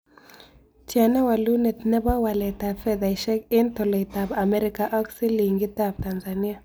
Tyana karogunet ne po waletap fedhaisiek eng' tolaitap amerika ak silingitap tanzania